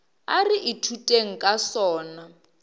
a re ithuteng ka sona